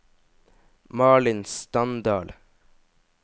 Malin Standal